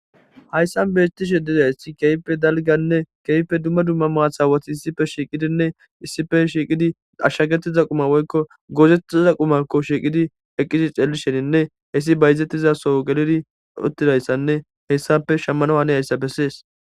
Hayssan beettishe dedaysi keype dalganne keype dumma dumma maathawati issife shiiqidinne issife shiiqidi dashshagetiza quma woykko goozettiza qumakko shiiqidi eqqisi ceelisheninne hessi bayzettizaso gelidi uttidayssanne hessape shammano hane hayssa bessees.